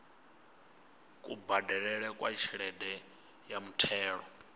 kubadelele kwa tshelede ya muthelo